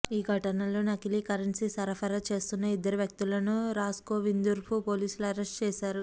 ఈ ఘటనలో నకిలీ కరెన్సీ సరఫరా చేస్తున్న ఇద్దరు వ్యక్తులను రాస్గోవింద్పూర్ పోలీసులు అరెస్ట్ చేశారు